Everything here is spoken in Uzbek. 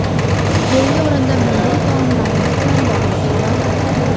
Keyingi o‘rinda milliy taomlarimiz bilan bog‘liq xabarlar .